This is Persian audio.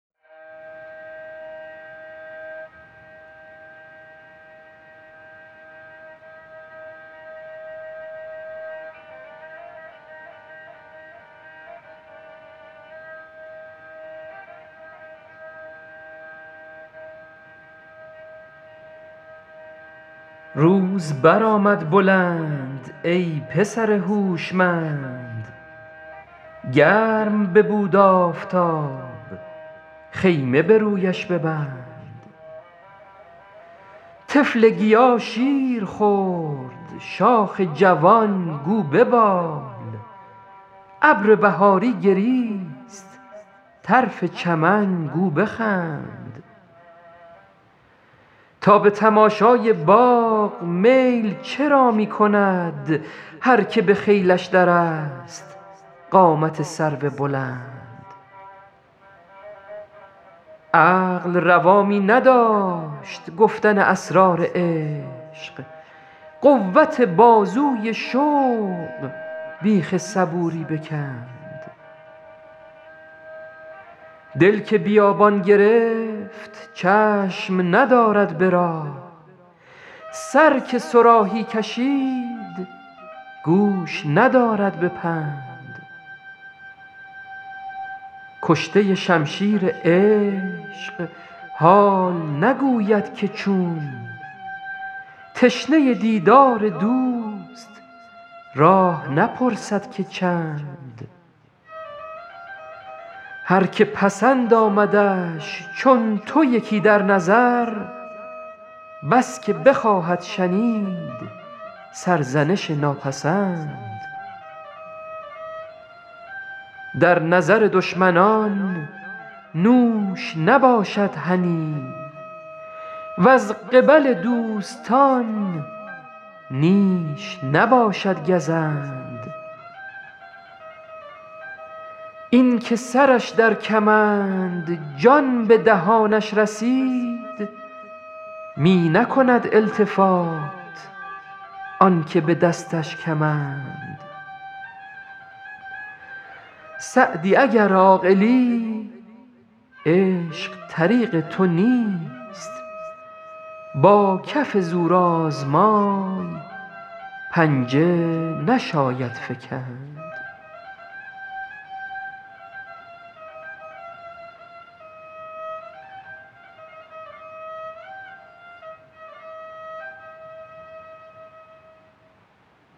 روز برآمد بلند ای پسر هوشمند گرم ببود آفتاب خیمه به رویش ببند طفل گیا شیر خورد شاخ جوان گو ببال ابر بهاری گریست طرف چمن گو بخند تا به تماشای باغ میل چرا می کند هر که به خیلش درست قامت سرو بلند عقل روا می نداشت گفتن اسرار عشق قوت بازوی شوق بیخ صبوری بکند دل که بیابان گرفت چشم ندارد به راه سر که صراحی کشید گوش ندارد به پند کشته شمشیر عشق حال نگوید که چون تشنه دیدار دوست راه نپرسد که چند هر که پسند آمدش چون تو یکی در نظر بس که بخواهد شنید سرزنش ناپسند در نظر دشمنان نوش نباشد هنی وز قبل دوستان نیش نباشد گزند این که سرش در کمند جان به دهانش رسید می نکند التفات آن که به دستش کمند سعدی اگر عاقلی عشق طریق تو نیست با کف زورآزمای پنجه نشاید فکند